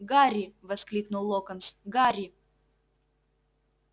гарри воскликнул локонс гарри